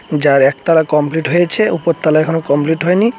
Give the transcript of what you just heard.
যার একতালা কমপ্লিট হয়েছে উপরতলা এখনো কমপ্লিট হয় নি।